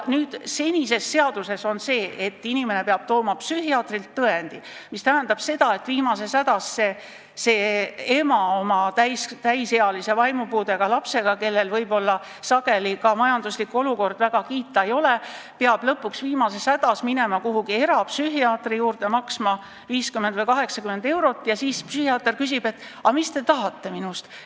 Senises seaduses on nii, et inimene peab tooma psühhiaatrilt tõendi, mis tähendab seda, et viimases hädas peab see ema oma täisealise vaimupuudega lapsega, kuigi võib-olla sageli ka majanduslik olukord väga kiita ei ole, lõpuks minema erapsühhiaatri juurde, maksma 50 või 80 eurot ja siis psühhiaater küsib, et mida temast tahetakse.